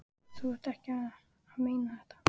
Þú ert nú ekki að meina þetta!